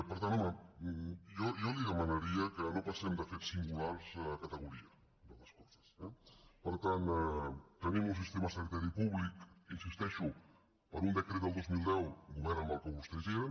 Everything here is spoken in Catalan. per tant home jo li demanaria que no passem de fets singulars a categoria de les coses eh per tant tenim un sistema sanitari públic hi insisteixo per un decret del dos mil deu govern en què vostès eren